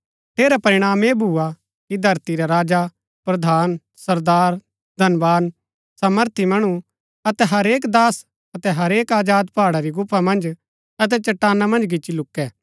ठेरा परिणाम ऐह भूआ कि धरती रै राजा प्रधान सरदार धनवान सामर्थी मणु अतै हरेक दास अतै हरेक आजाद पहाड़ा री गुफा मन्ज अतै चट्टाना मन्ज गिच्ची लूकै